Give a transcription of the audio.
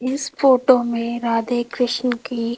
इस फोटो में राधे कृष्ण की--